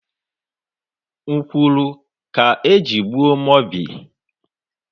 Nkwuru ka eji gbuo Mobi.